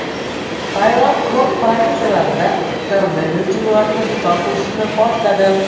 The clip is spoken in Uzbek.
Tailand kurort provinsiyalarida koronavirus cheklovlarini bekor qilishni boshladi.